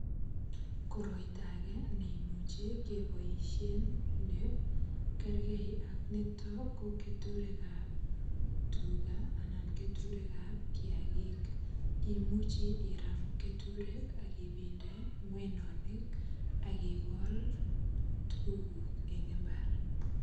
Koroito age nekimuche keboisien ne kergee ak niton ko keturik ab tuga anan keturik ab kiagik imuchi iram keturek ak ibende ng'weny ak ikol tuguk kuk en mbar